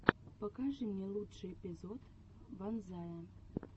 покажи мне лучший эпизод ванзая